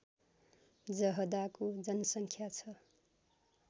जहदाको जनसङ्ख्या छ